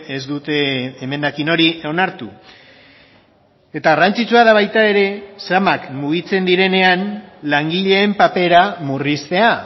ez dute emendakin hori onartu eta garrantzitsua da baita ere zamak mugitzen direnean langileen papera murriztea